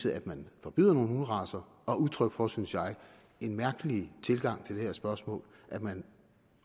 at man forbyder nogle hunderacer og udtryk for en synes jeg mærkelig tilgang til det her spørgsmål at man